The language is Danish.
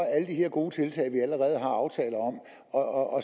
de her gode tiltag vi allerede har aftaler om og